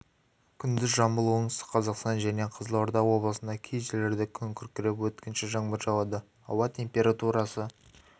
күндіз жамбыл оңтүстік қазақстан жәнен қызылорда облысында кей жерлерде күн күркіреп өткінші жаңбыр жауады ауа температурасы